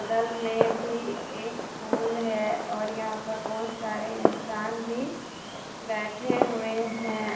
बगल में भी एक फूल है और यहां पर बहुत सारे इंसान भी बैठे हुए हैं।